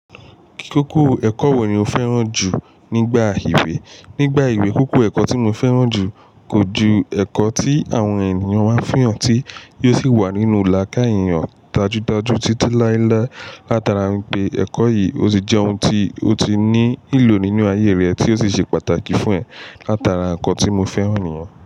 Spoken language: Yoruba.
Kíkókó ẹ̀kọ́ wo ni o fẹ́ràn jù nígbà ìwé? Nígbà ewé kókó ẹ̀kọ́ tí mo fẹ́ràn jù kò ju ẹ̀kọ́ tí àwọn ènìyàn máa n fihàn tí, yóò sì wà nínú làkai èeyàn dajú dajú títí láíláí. Látara n pé ẹ̀kọ́ yìí o ti jẹ́ ohun tí ó ti ní ìlò nínú ayé rẹ̀ tí ó sì ṣe pàtàkì fún ẹ̀, látara ẹ̀kọ́ tí mo fẹ́ràn ni yen.